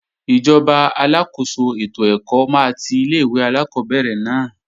Ìjọba aláàkóso ètò ẹ̀kọ́ máa ti ilé-ìwé alákọ́bẹ̀rẹ̀ náà